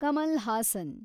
Kamal Haasan